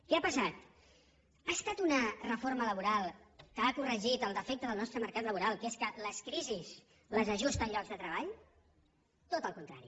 què ha passat ha estat una reforma laboral que ha corregit el defecte del nostre mercat laboral que és que les crisis les ajusten llocs de treball tot el contrari